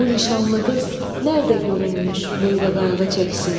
Bu nişanlı qız nədə görünmüş böylə qayğı çəksin.